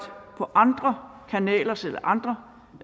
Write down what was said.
på andre kanalers eller andre